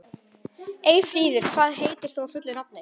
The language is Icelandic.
Eyfríður, hvað heitir þú fullu nafni?